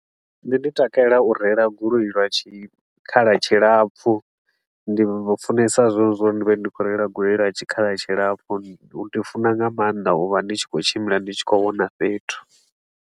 Nṋe ndi takalela u reila goloi lwa tshi tshikhala tshilapfu, ndi vhu funesa zwone zwa uri ndi vhe ndi khou reila goloi lwa tshikhala tshilapfu. Ndi funa nga maanḓa u vha ndi tshi khou tshimbila ndi tshi khou vhona fhethu.